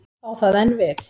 Á það enn við?